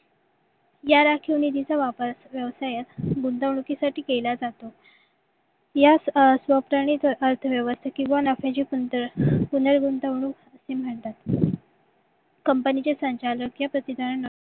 या राखीव निधीचा वापर व्यवसायात गुंतवणुकीसाठी केला जातो या किंवा नफ्याची कमतरता पुनर्गुंतवणूक असे म्हणतात company चे संचालक या प्रतीकरण